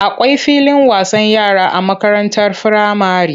Akwai filin wasan yara a makarantar firamare.